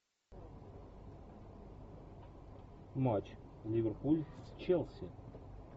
матч ливерпуль с челси